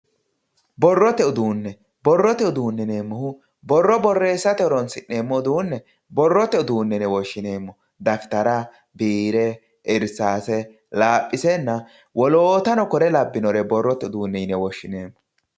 Borrote uduune, borrote uduune yineemmohu borro borreessate horonsineemmo uduune borrote uduune yine woshshineemmo dafitara biire irsase laphisenna woloottano kore labbinore borrote uduune yine woshshineemmo.